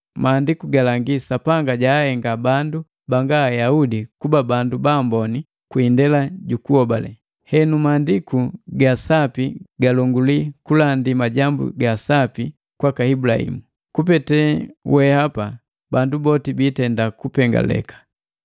Maandiku galangi Sapanga jahenga bandu banga Ayaudi kuba bandu baambone kwi indela jukuhobale. Henu Maandiku ga Sapi galonguli kulandi Majambu ga Sapi kwaka Ibulahimu: “Kupete wehapa bandu boti biitenda kupengaleka.”